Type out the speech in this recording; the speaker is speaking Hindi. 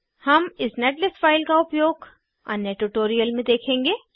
हम इस नेटलिस्ट फाइल का उपयोग अन्य ट्यूटोरियल में देखेंगे